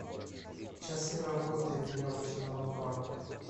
часы работы веревочного парка